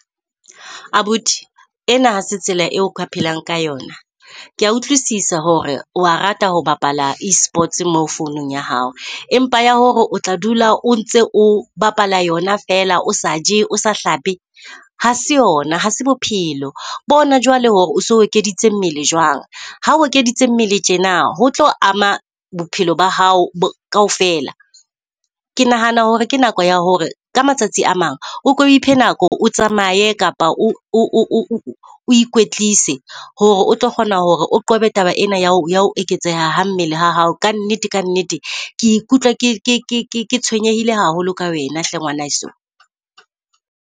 Abuti ena hase tsela eo o ka phelang ka yona. Kea utlwisisa hore wa rata ho bapala e-sports mo founung ya hao empa ya hore o tla dula o ntse o bapala yona fela o sa je o sa hlape, ha se yona hase bophelo. Bona jwale hore o so ekeditse mmele jwang ha o ekeditse mmele tjena ho tlo ama bophelo ba hao kaofela. Ke nahana hore ke nako ya hore ka matsatsi a mang o ko iphe nako hore o tsamaye, kapa o o ikwetlise hore o tlo kgona hore o qobe taba ena ya eketseha ha mmele ha hao. Ka nnete ka nnete, ke ikutlwa ke ke tshwenyehile haholo ka wena hle ngwana heso.